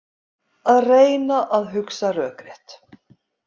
Að reyna að hugsa rökrétt